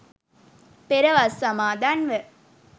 පෙර වස් සමාදන්ව,